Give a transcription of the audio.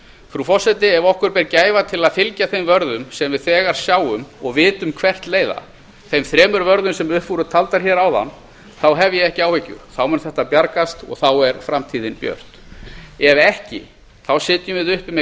frú forseti ef við berum gæfu til að fylgja þeim vörðum sem við þegar sjáum og vitum hvert leiða þeim þremur vörðum sem upp voru taldar hér áðan þá hef ég ekki áhyggjur þá mun þetta bjargast og þá er framtíðin björt ef ekki þá sitjum við uppi með